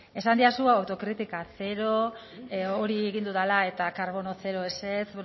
esan didazu autokritika zero hori egin dudala eta karbono zero ezetz